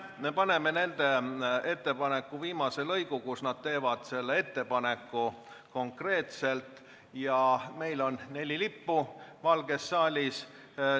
Me paneme hääletusele nende ettepaneku viimase lõigu, kus nad teevad konkreetselt ettepaneku taastada olukord, kus meil oli neli lippu Valges saalis.